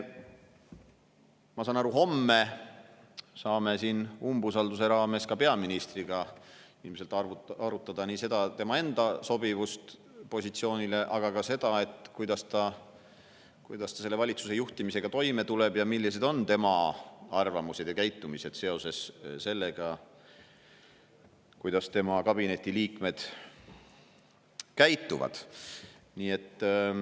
Ma saan aru, et homme me saame siin umbusalduse raames ka peaministriga ilmselt arutada nii tema enda sobivust positsioonile kui ka seda, kuidas ta valitsuse juhtimisega toime tuleb ning millised on tema arvamused ja käitumine seoses sellega, kuidas tema enda kabineti liikmed käituvad.